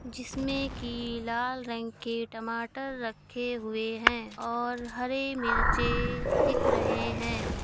जिसमे की लाल रंग के टमाटर रखे हुए हैं और हरे मिर्चे दिख रहे हैं।